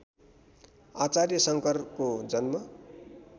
आचार्य शङ्करको जन्म